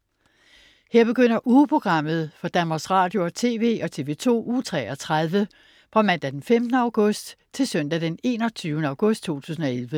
Her begynder ugeprogrammet for Danmarks Radio- og TV og TV2 Uge 33 Fra Mandag den 15. august 2011 Til Søndag den 21. august 2011